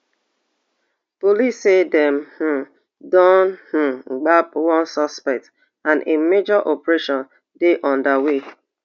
police say dem um don um gbab one suspect and a major operation dey under way